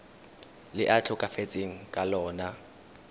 le a tlhokafetseng ka lona